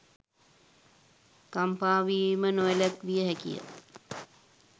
කම්පාවීම නොවැළැක්විය හැකිය.